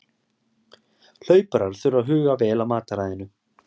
Hlauparar þurfa að huga vel að mataræðinu.